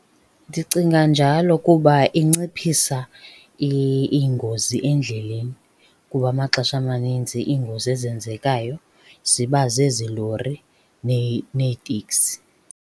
Ndicinga njalo kuba inciphisa iingozi endleleni kuba amaxesha amaninzi iingozi ezenzekayo ziba zezi lori neeteksi.